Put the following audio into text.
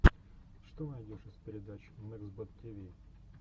что найдешь из передач мексбод тиви